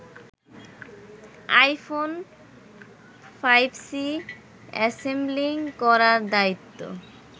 iPhone ৫সি assembling করার দায়িত্ব